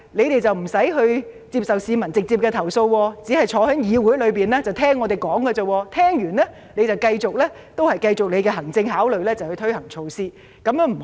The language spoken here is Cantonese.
他們無需接受市民直接投訴，只消坐在議會內聆聽議員發言，之後繼續基於他們的行政考慮推行措施。